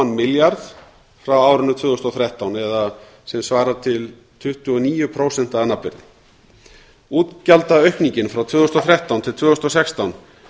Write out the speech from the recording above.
milljarða frá árinu tvö þúsund og þrettán eða sem svarar til tuttugu og níu prósent að nafnvirði útgjaldaaukningin frá tvö þúsund og þrettán til tvö þúsund og sextán